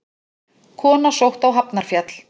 Kona sótt á Hafnarfjall